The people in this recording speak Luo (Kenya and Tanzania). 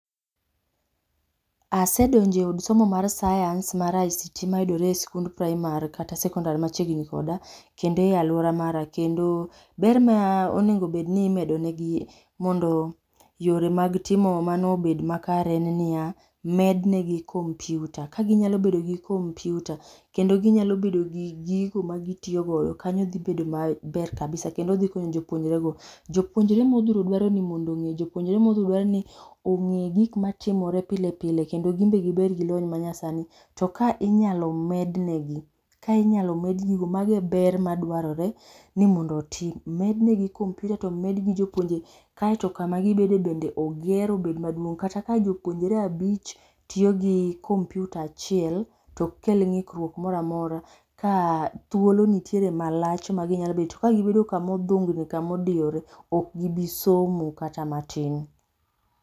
Asedonjo e od somo mar sayans mar ICT ma yudore e skund primary kata secondary machiegni koda, kendo e aluora mara kendo ber ma onego bed ni imedo ne gi mondo yore mag timo mano obed ma kare en ni ya, med ne gi komypyuta ka gi nyalo bedo gi kompyuta kendo gi nya bedo gi gigo ma gi tiyo go kanyo dhi bedo ma ber kabisa, kendo dhi konyo jopuonjre go. Jopuonjre ma odhuro dwa ni ong'e gige ma timore pilepile kendo gi bed gi lony ma nyasani .To ka inyalo med ne gi ka inyalo med gigo ma go e ber ma dwarore ni mondo otim, omed ne gi kompyuta to omed ne gi jopuonje kaito ka ma gi bede be oger ma obed maduong kata ka jopuonjre abich tiyo gi kompyuta achiel to ok kel ng'ikruok moro ka thuolo nitiere ma lach ma gi nyalo bet ka bedo kama odhung'ore odiyore ok gi bi somo kata matin.